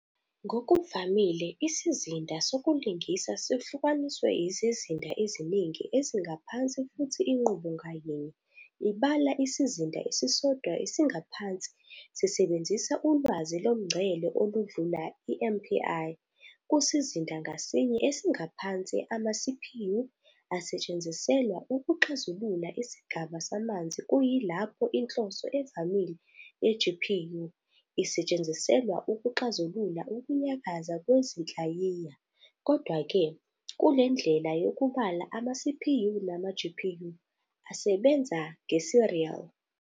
Ngokuvamile, isizinda sokulingisa sihlukaniswe izizinda eziningi ezingaphansi futhi inqubo ngayinye ibala isizinda esisodwa esingaphansi sisebenzisa ulwazi lomngcele oludlula i-MPI, kusizinda ngasinye esingaphansi, ama-CPU asetshenziselwa ukuxazulula isigaba samanzi kuyilapho inhloso evamile ye-GPU isetshenziselwa ukuxazulula ukunyakaza kwezinhlayiya. Kodwa-ke, kule ndlela yokubala ama-CPU nama-GPU asebenza nge-serial.